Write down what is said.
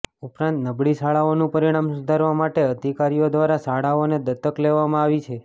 ઉપરાંત નબળી શાળાઓનું પરિણામ સુધારવા માટે અધિકારીઓ દ્વારા શાળાઓને દત્તક લેવામાં આવી છે